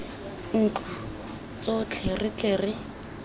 ntlo tsotlhe re tle re